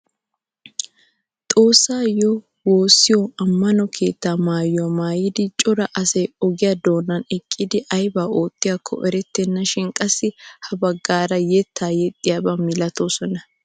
Xoossayoo woosiyoo ammano keettaa maayuwaa maayida cora asay ogiyaa donan eqqidi aybaa oottiyaakko erettena shin qassi ha baggaara yeettaa yexxiyaaba maltoosona!